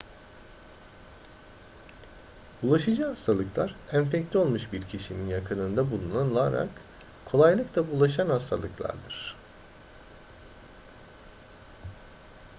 bulaşıcı hastalıklar enfekte olmuş bir kişinin yakınında bulunularak kolaylıkla bulaşan hastalıklardır